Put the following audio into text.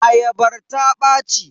Ayabar ta ɓaci.